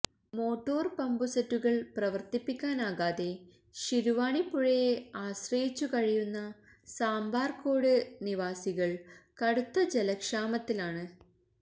motor പമ്പുസെറ്റുകള് പ്രവര്ത്തിപ്പിക്കാനാകാതെ ശിരുവാണിപ്പുഴയെ ആശ്രയിച്ചു കഴിയുന്ന സാമ്പാര്ക്കോട് നിവാസികള് കടുത്ത ജലക്ഷാമത്തിലാണ്